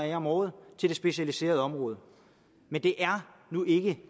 af om året til det specialiserede område men det er nu ikke